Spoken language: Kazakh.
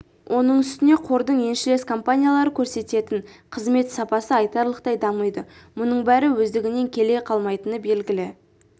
оның үстіне қордың еншілес компаниялары көрсететін қызмет сапасы айтарлықтай дамиды мұның бәрі өздігінен келе қалмайтыны белгілі